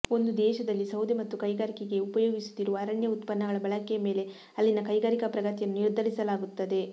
ಒಂದು ದೇಶದಲ್ಲಿ ಸೌದೆ ಮತ್ತು ಕೈಗಾರಿಕೆಗೆ ಉಪಯೋಗಿಸುತ್ತಿರುವ ಅರಣ್ಯ ಉತ್ಪನ್ನಗಳ ಬಳಕೆಯ ಮೇಲೆ ಅಲ್ಲಿನ ಕೈಗಾರಿಕಾ ಪ್ರಗತಿಯನ್ನು ನಿರ್ಧರಿಸಲಾಗುತ್ತದೆ